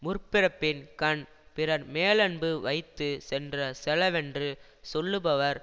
முற்பிறப்பின்கண் பிறர்மேலன்பு வைத்து சென்ற செலவென்று சொல்லுபவர்